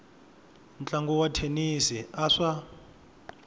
ntlangu wa thenisi a swa